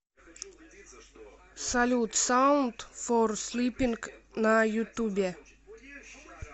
салют саунд фор слипинг на ютубе